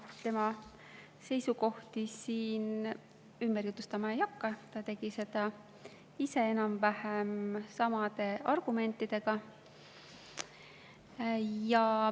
Tema seisukohti ma siin ümber jutustama ei hakka, ta tegi seda ise enam-vähem samade argumentidega.